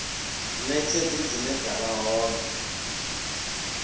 netshedzo zwine zwa vha hone